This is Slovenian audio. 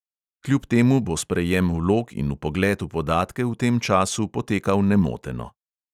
Kljub temu bo sprejem vlog in vpogled v podatke v tem času potekal nemoteno.